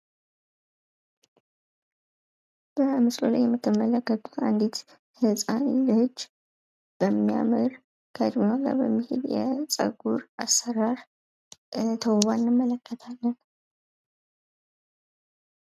በምስሉ ላይ የምትመለከቱት አንዲት ህጻን ልጅ በሚያምር የ ጸጉር አሰራር ተውባ እንመለከታለን፡፡